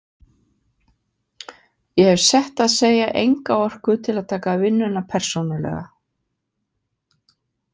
Ég hef sett að segja enga orku til að taka vinnuna persónulega.